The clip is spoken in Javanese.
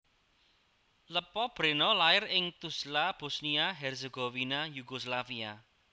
Lepa Brena lair ing Tuzla Bosnia Herzegovina Yugoslavia